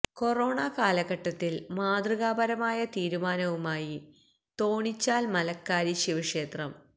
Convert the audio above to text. corona കാലഘട്ടത്തില് മാതൃകാ പരമായ തീരുമാനവുമായി തോണിച്ചാല് മലക്കാരി ശിവക്ഷേത്രം